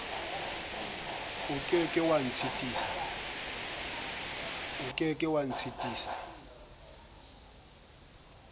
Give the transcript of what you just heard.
o ke ke wa ntshitisa